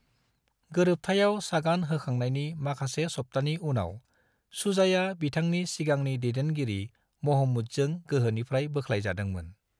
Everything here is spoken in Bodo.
गोरोबथायाव सागान होखांनायनि माखासे सप्तानि उनाव, शुजाया बिथांनि सिगांनि दैदेनगिरि महमूदजों गोहोनिफ्राय बोख्लाय जादोंमोन।